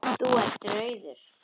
Þú ert rauður.